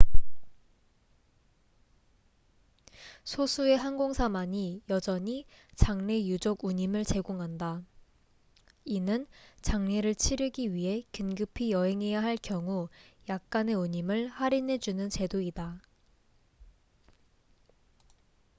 소수의 항공사만이 여전히 장례 유족 운임을 제공한다 이는 장례를 치르기 위해 긴급히 여행해야 할 경우 약간의 운임을 할인해 주는 제도이다